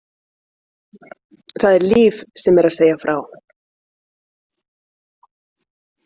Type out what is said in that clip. Það er Líf sem er að segja frá.